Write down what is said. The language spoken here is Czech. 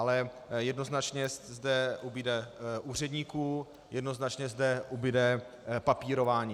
Ale jednoznačně zde ubude úředníků, jednoznačně zde ubude papírování.